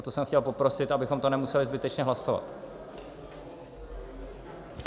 O to jsem chtěl poprosit, abychom to nemuseli zbytečně hlasovat.